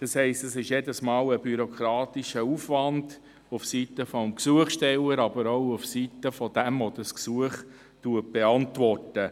Das heisst, es ist jedes Mal ein bürokratischer Aufwand seitens des Gesuchstellers, aber auch seitens desjenigen, der das Gesuch beantwortet.